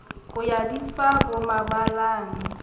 ho ya di fa bomabalane